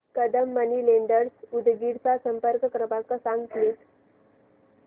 Kadam money lenders Udgir चा संपर्क क्रमांक सांग प्लीज